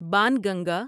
Banganga